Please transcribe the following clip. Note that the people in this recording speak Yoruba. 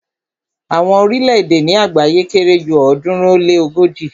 Àwọn orílẹ̀-èdè ni àgbáyé kere ju ọ̀ọ́dúnrún ó lé ogoji